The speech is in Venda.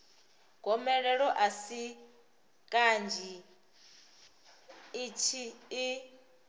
gomelelo a si kanzhi i